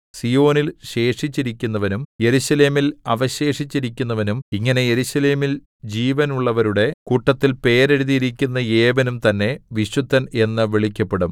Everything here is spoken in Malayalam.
സീയോനിൽ ശേഷിച്ചിരിക്കുന്നവനും യെരൂശലേമിൽ അവശേഷിച്ചിരിക്കുന്നവനും ഇങ്ങനെ യെരൂശലേമിൽ ജീവനുള്ളവരുടെ കൂട്ടത്തിൽ പേര് എഴുതിയിരിക്കുന്ന ഏവനും തന്നെ വിശുദ്ധൻ എന്നു വിളിക്കപ്പെടും